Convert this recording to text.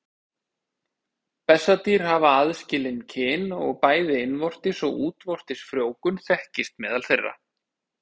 Bessadýr hafa aðskilin kyn og bæði innvortis og útvortis frjóvgun þekkist meðal þeirra.